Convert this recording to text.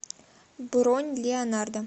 бронь леонардо